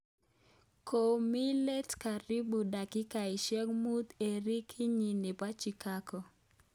Komii let laribu dakigaisyek muut eng rekidinyi nebo Chikago